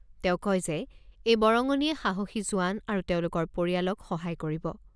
তেওঁ কয় যে এই বৰঙণিয়ে সাহসী জোৱান আৰু তেওঁলোকৰ পৰিয়ালক সহায় কৰিব।